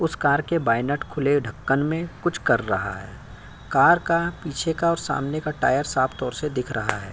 उस कार के bonnet खुले ढक्कन मे कुछ कर रहा है। कार का पीछे का और सामने का टायर साफ तौर से दिख रहा है।